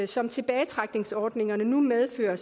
som tilbagetrækningsordningerne nu medfører